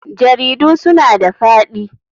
Jaridu suna da faɗi.